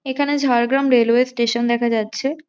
এখানে Jhargram railway station দেখা যাচ্ছে।